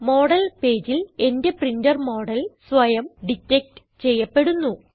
model പേജിൽ എന്റെ printer model സ്വയം ഡിറ്റക്ട് ചെയ്യപ്പെടുന്നു